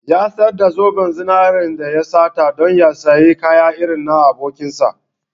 Ya sayar da zoben zinaren da ya sata don ya sayi kaya irin na abokinsa.